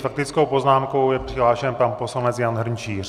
S faktickou poznámkou je přihlášen pan poslanec Jan Hrnčíř.